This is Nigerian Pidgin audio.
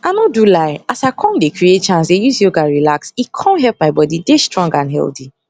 i nor do lie as i com dey create chance dey use yoga relax e com help my body dey strong and healthy